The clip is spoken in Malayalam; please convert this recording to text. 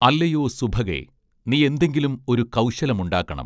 അല്ലയോ സുഭഗേ നീയെന്തെങ്കിലും ഒരു കൗശലമുണ്ടാക്കണം